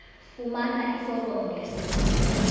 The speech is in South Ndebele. fumana iforomo lesibawo